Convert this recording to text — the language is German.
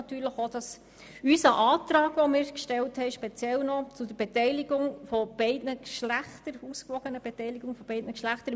Natürlich hoffen wir auch, dass unser Antrag, den wir speziell zu der ausgewogenen Beteiligung beider Geschlechter im Verwaltungsrat gestellt haben, eine Mehrheit findet.